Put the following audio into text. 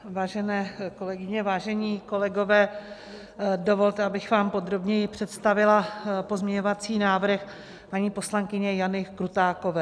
Vážené kolegyně, vážení kolegové, dovolte, abych vám podrobněji představila pozměňovací návrh paní poslankyně Jany Krutákové.